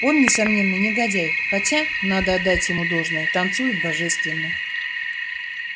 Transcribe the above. он несомненно негодяй хотя надо отдать ему должное танцует божественно